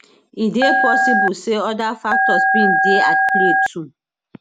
e dey possible say oda factors bin dey at play too